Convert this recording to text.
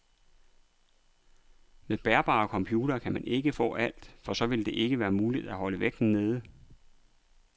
Med bærbare computere kan man ikke få alt, for så ville det ikke være muligt at holde vægten nede.